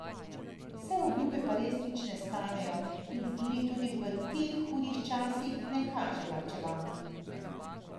Saj obljube pa res nič ne stanejo in z njimi tudi v teh hudih časih ne kaže varčevati.